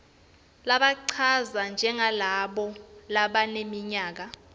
labachazwa njengalabo labaneminyaka